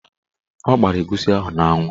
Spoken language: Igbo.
Ọ gbara egusi ahụ n'anwụ.